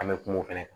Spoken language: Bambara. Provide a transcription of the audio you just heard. An bɛ kuma o fana kan